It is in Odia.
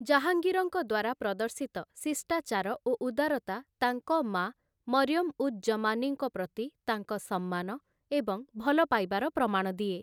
ଜାହାଙ୍ଗୀରଙ୍କ ଦ୍ୱାରା ପ୍ରଦର୍ଶିତ ଶିଷ୍ଟାଚାର ଓ ଉଦାରତା ତାଙ୍କ ମା' ମରିୟମ୍ ଉଜ୍ ଜମାନୀଙ୍କ ପ୍ରତି ତାଙ୍କ ସମ୍ମାନ ଏବଂ ଭଲପାଇବାର ପ୍ରମାଣ ଦିଏ ।